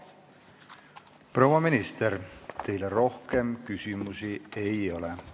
Proua minister, teile rohkem küsimusi ei ole.